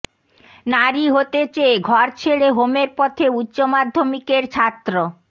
নারী হতে চেয়ে ঘর ছেড়ে হোমের পথে উচ্চমাধ্যমিকের ছাত্র